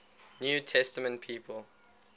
new testament people